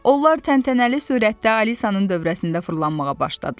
Onlar təntənəli surətdə Alisanın dövrəsində fırlanmağa başladılar.